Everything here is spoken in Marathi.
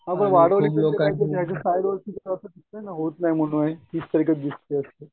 हा पण वाढवली ठीक आहे होत नाही म्हणून आणि